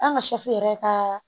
An ka yɛrɛ ka